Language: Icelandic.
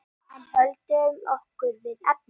En höldum okkur við efnið.